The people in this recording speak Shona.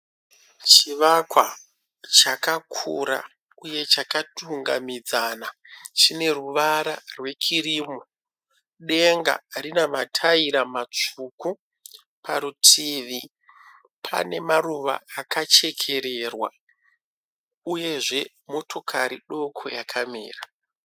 Chivakwa chakakura uye chakatungamidzana, chine ruvara rwekirimu. Denga rine mataira matsvuku. Parutivi panemaruva akachekererwa uyezve motokari doko yakamira.